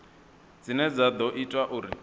dzine dza ḓo ita uri